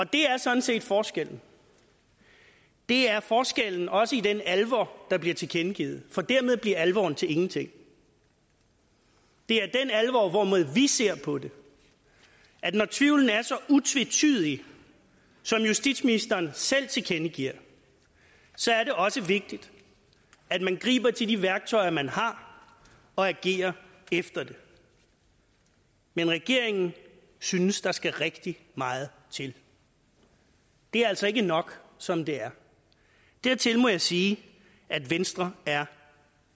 det er sådan set forskellen det er forskellen også i den alvor der bliver tilkendegivet for dermed bliver alvoren til ingenting det er den alvor hvormed vi ser på det at når tvivlen er så utvetydig som justitsministeren selv tilkendegiver så er det også vigtigt at man griber til de værktøjer man har og agerer efter det men regeringen synes der skal rigtig meget til det er altså ikke nok som det er dertil må jeg sige at venstre er